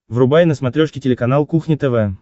врубай на смотрешке телеканал кухня тв